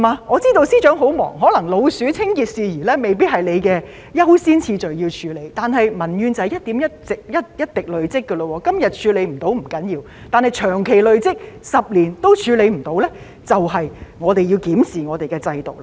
我知道司長很忙碌，可能捉老鼠等清潔事宜未必是你優先處理的工作，但民怨便是這樣一點一滴累積下來的；問題今天處理不到不要緊，但長期累積下去 ，10 年也處理不到的話，我們便要檢視我們的制度了。